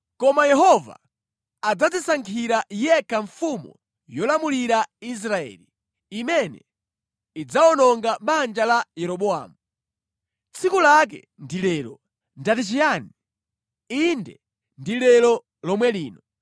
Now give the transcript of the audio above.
“Koma Yehova adzadzisankhira yekha mfumu yolamulira Israeli imene idzawononga banja la Yeroboamu. Tsiku lake ndi lero! Ndati chiyani? Inde, ndi lero lomwe lino.